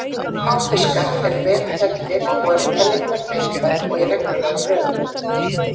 Háfiskar eru vel tenntir og eru tennurnar beittar og í reglulegum röðum.